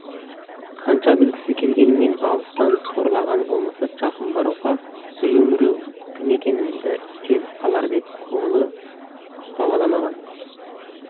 қанша білгісі келгенмен алыстан торлағаны болмаса жақын баруға біреу-міреу кім екенімді сезіп қалар деп көңілі дауаламаған